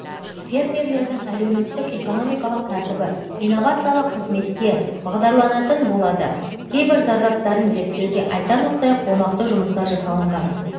фермерлердің әлеуметтік-экономикалық тәртібі инновациялық қызметке бағдарланатын болады кейбір зардаптарын зерттеуге айтарлықтай қомақты жұмыстар жасалған